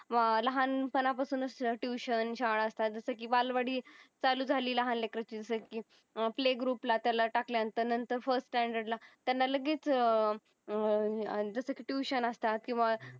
लहान पणा पासून अस ट्युशन शाळा अस्तात. जस कि बालवाडी चालू झाली लहान लेकाची सर्की प्ले ग्रुपला तेला टाकल्या नंतर तेला फर्स्ट स्टान्डर्ड ला तेन्हा लगेच हम्म आणि जस कि ट्युशन अस्तात किव्हा